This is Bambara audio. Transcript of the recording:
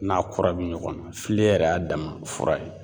N'a kura bi ɲɔgɔn na, filen yɛrɛ y'a dama fura ye.